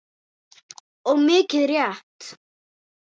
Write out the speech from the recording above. Og mikið rétt.